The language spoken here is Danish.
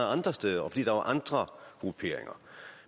andre steder og fordi der var andre grupperinger